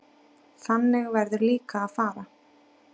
Þannig verður líka að fara.